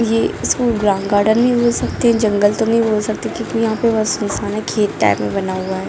ये school ground garden भी हो सकते हैं जंगल तो नहीं बोल सकते क्योंकि यहां पर बस नहीं खाना खेत टाइप में बना हुआ है।